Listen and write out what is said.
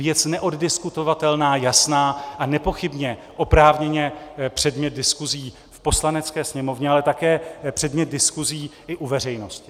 Věc neoddiskutovatelná, jasná a nepochybně oprávněně předmět diskusí v Poslanecké sněmovně, ale také předmět diskusí i u veřejnosti.